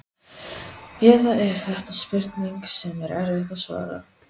Eða er þetta spurning sem er erfitt að svara?